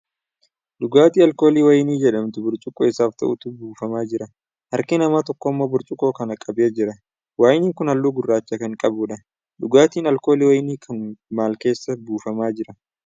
Dhugaatii alkoolii Wayinii jedhamutu burcuqqoo isaaf ta'utti buufamaa jira. Harki namaa tokkommoo burcuqqoo kana qabee jira. Wayiniin kun halluu gurraacha kan qabuudha. Dhugaatiin alkoolii wayinii kun maal keessaa buufamaa jira?